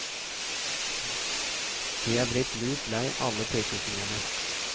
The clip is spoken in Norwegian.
De er blitt lut lei alle pekefingrene.